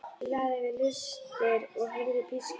Ég lagði við hlustir og heyrði pískur.